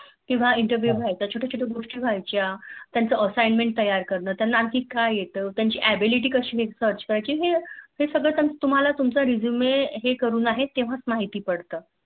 किंव Interview व्हायचं छोट्या छोट्या गोष्टी व्ह्यायच्या त्यानाच Assignment तैय्यार कारण त्यांना आणखी काय येते त्यांची Ability कशी Search करायची हे सगळं तुम्हाला तुमचा Resume हे करून आहेत तेव्हाच माहिती पडत